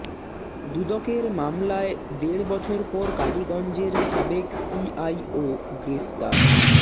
দুদকের মামলায় দেড় বছর পর কালীগঞ্জের সাবেক পিআইও গ্রেফতার